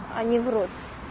они врут